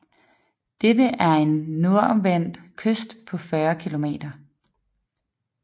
Dette er en nordvendt kyst på 40 kilometer